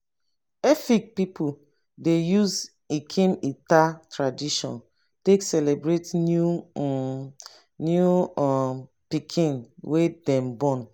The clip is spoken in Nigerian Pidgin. efik pipu dey use nkim ita tradition take celebrate new um new um pikin wey dem born.